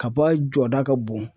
Kaba jɔda ka bon.